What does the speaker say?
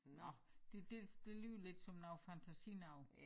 Nåh det det det lyder lidt som noget fantasinoget